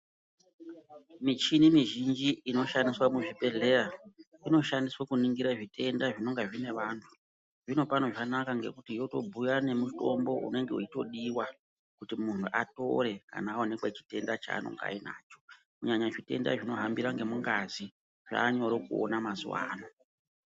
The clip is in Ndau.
Michini mizhinji ino shandiswa muzvi bhehleya, ino shandiswa kuningira zvitenda zvinonga zviine vantu. Zvino pano zvatonaka ngekuti yotobhuya nemutombo unenge weitodiwa kuti muntu atore kana awanikwa chitenda chanenge ainacho, kunyanya zvitenda zvino hambira ngemungazi zvanyore kuona mazuwano.